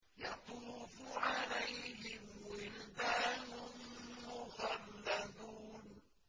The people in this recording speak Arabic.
يَطُوفُ عَلَيْهِمْ وِلْدَانٌ مُّخَلَّدُونَ